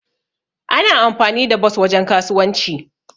Ana amfani da bos wajen kasuwanci.